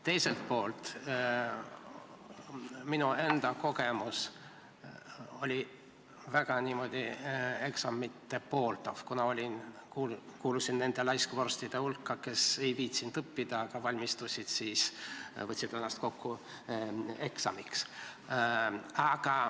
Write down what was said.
Teiselt poolt, minu enda kogemus on olnud väga eksamit pooldav, kuna kuulusin nende laiskvorstide hulka, kes ei viitsinud õppida, kuid kes valmistusid ja võtsid ennast kokku eksamiks.